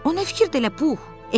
O nə fikir də elə, Pux?